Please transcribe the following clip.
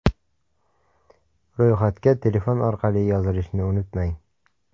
Ro‘yxatga telefon orqali yozilishni unutmang!!!